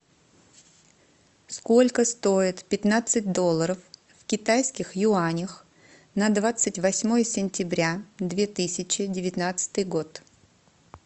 сколько стоит пятнадцать долларов в китайских юанях на двадцать восьмое сентября две тысячи девятнадцатый год